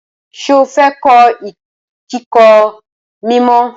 Ṣé o fẹ́ kọ́ ìkòkò mímọ?